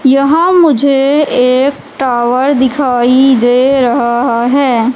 यहां मुझे एक टावर दिखाई दे रहा है।